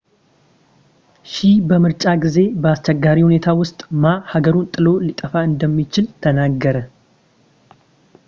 ሺህ በምርጫ ጊዜ በአስቸጋሪ ሁኔታ ውስጥ ማ ሀገሩን ጥሎ ሊጠፋ እንደሚችል ተናገረ